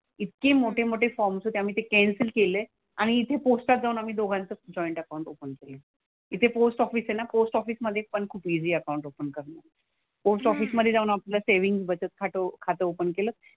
इतके मोठेमोठे फॉर्म्स होते. आम्ही ते कॅन्सल केले. आणि इथे पोस्टात जाऊन आम्ही दोघांचं जॉईंट अकाउंट केलं. इथे पोस्ट ऑफिस आहे ना. पोस्ट ऑफिसमधे पण खूप इझी आहे अकाउंट ओपन करणं. पोस्ट ऑफिसमधे जाऊन आपलं सेव्हिन्ग बचत खातं ओपन केलं.